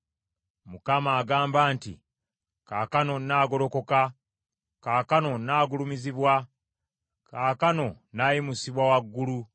Mukama agamba nti, “Kaakano nnaagolokoka, kaakano nnaagulumizibwa, kaakano nnaayimusibwa waggulu.